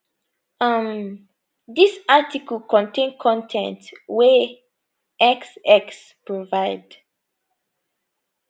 um dis article contain con ten t wey x x provide